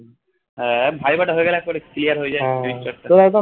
হ্যা viva টা হয়ে গেলে একবারে clear হয়ে যায়